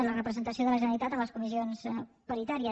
la representació de la generalitat en les comissions paritàries